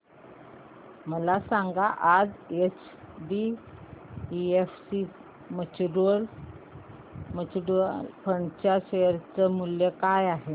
मला सांगा आज एचडीएफसी म्यूचुअल फंड च्या शेअर चे मूल्य काय आहे